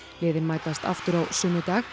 liðin mætast aftur á sunnudag